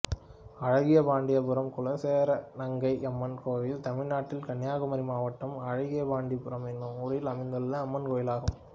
அழகியபாண்டியபுரம் குலசேகரநங்கையம்மன் கோயில் தமிழ்நாட்டில் கன்னியாகுமரி மாவட்டம் அழகியபாண்டியபுரம் என்னும் ஊரில் அமைந்துள்ள அம்மன் கோயிலாகும்